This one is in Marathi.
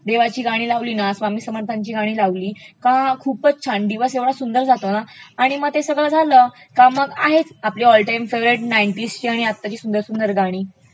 देवाची गाणी लावली ना, स्वामी समर्थांची गाणी लावली का खूपचं छान, दिवसं एवढा सुंदर जातो ना आणि मग ते सगळं झाल की आहेत आपली ऑल टाइम फेवरेट नाइन्टीजची आणि आताची दिवसभर गाणी